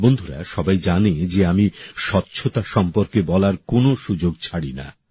বন্ধুরা সবাই জানে যে আমি স্বচ্ছতা সম্পর্কে বলার কোন সুযোগ ছাড়ি না